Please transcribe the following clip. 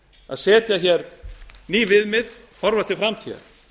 að setja hér ný viðmið horfa til framtíðar